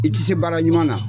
I ti se baara ɲuman na.